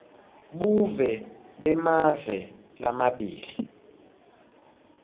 buve bemave lamabili